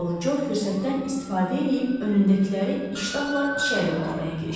Zavallı Co fürsətdən istifadə eləyib önündəkiləri iştahla içəri ötürməyə girişdi.